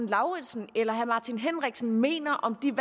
lauritzen eller herre martin henriksen mener om de